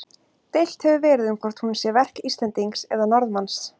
Deilt hefur verið um hvort hún sé verk Íslendings eða Norðmanns.